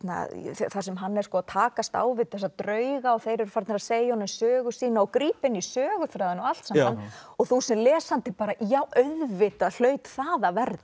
þar sem hann er að takast á við þessa drauga og þeir eru farnir að segja honum sögu sína og grípa inn í söguþráðinn og allt saman og þú sem lesandi bara já auðvitað hlaut það að verða